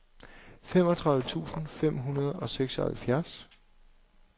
femogtredive tusind fem hundrede og seksoghalvtreds